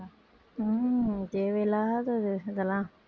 உம் தேவையில்லாதது இதெல்லாம்